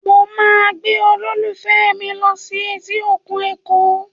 Mo máa gbé olólùfẹ́ mi lọ sí etí òkun Èkó